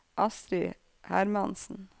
Astrid Hermansen